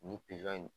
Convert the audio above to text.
Nin pizɔn in